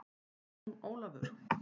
Jón Ólafur!